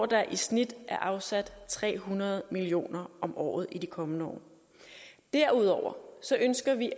der i snit er afsat tre hundrede million kroner om året til i de kommende år derudover ønsker vi